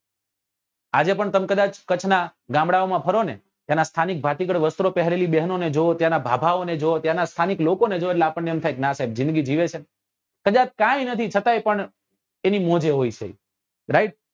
આજે પણ તમે કદાચ કચ્છ નાં ગામડા ઓ માં ફરો ને ત્યાં નાં સ્થાનિક ભાતીગળ વસ્ત્રો પહેરેલી બહેનો ને જોવો ત્યાં નાં ભાભા ઓ ને જોવો ત્યાં નાં સ્થાનિક લોકો ને જોવો એટલે આપણને એમ થાય કે નાં સાહેબ જિંદગી જીવે છે કદાચ કઈ નથી છતાય પણ એની મોજે હોય છે right